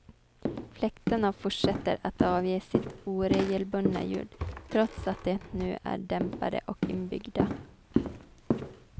Fläktarna fortsätter att avge sitt oregelbundna ljud, trots att de nu är dämpade och inbyggda.